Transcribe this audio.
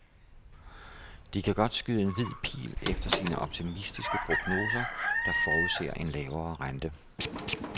De kan godt skyde en hvid pil efter sine optimistiske prognoser, der forudser en lavere rente.